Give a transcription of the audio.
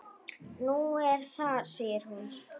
Nú, er það segir hún.